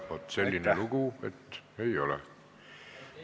Vot selline lugu, et ei ole.